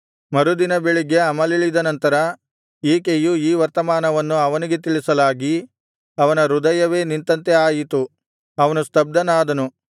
ಮರುದಿನ ಬೆಳಿಗ್ಗೆ ಅಮಲಿಳಿದ ನಂತರ ಈಕೆಯು ಈ ವರ್ತಮಾನವನ್ನು ಅವನಿಗೆ ತಿಳಿಸಲಾಗಿ ಅವನ ಹೃದಯವೇ ನಿಂತಂತೆ ಆಯಿತು ಅವನು ಸ್ತಬ್ಧನಾದನು